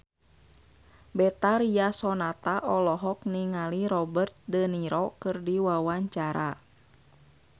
Betharia Sonata olohok ningali Robert de Niro keur diwawancara